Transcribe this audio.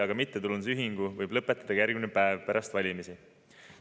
Aga mittetulundusühingu võib lõpetada ka järgmine päev pärast valimisi.